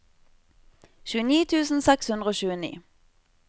tjueni tusen seks hundre og tjueni